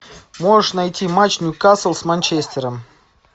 можешь найти матч ньюкасл с манчестером